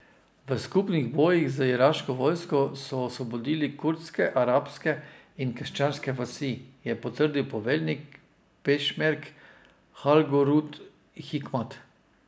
V skupnih bojih z iraško vojsko so osvobodili kurdske, arabske in krščanske vasi, je potrdil poveljnik pešmerg Halgurd Hikmat.